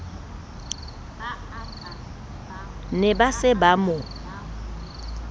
ne ba se ba mo